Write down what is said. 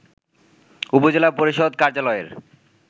উপজেলা পরিষদ কার্যালয়ের